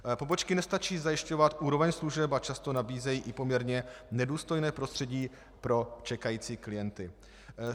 Pobočky nestačí zajišťovat úroveň služeb a často nabízejí i poměrně nedůstojné prostředí pro čekající klienty.